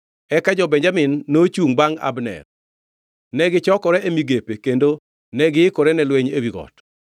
Eka jo-Benjamin nochungʼ bangʼ Abner. Negichokore e migepe kendo negiikore ne lweny ewi got.